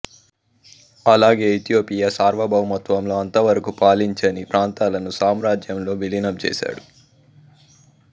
అలాగే ఇథియోపియా సార్వభౌమత్వంలో అంతవరకు పాలించని ప్రాంతాలను సామ్రాజ్యంలో విలీనం చేసాడు